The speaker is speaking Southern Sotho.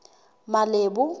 malebo